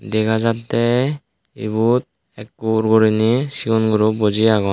dega jattey ebot ekur guriney segon guro buji agon.